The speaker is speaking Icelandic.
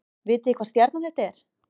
Vitið þið hvaða stjarna þetta er